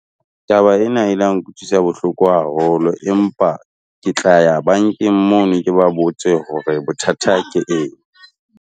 Taba ena e la nkutlwisa bohloko haholo empa ke tla ya bankeng mono ke ba botse hore bothata ke eng?